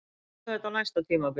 Við tökum þetta á næsta tímabili